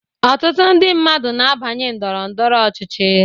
Ọtụtụ ndị mmadụ n'abanye Ndọrọ ndọrọ ọchịchị.